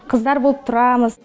қыздар болып тұрамыз